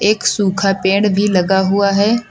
एक सुखा पेड़ भी लगा हुआ हैं।